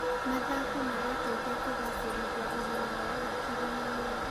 Mathako marateithia kũgacĩrithia ũgima wa hakiri na mwĩrĩ.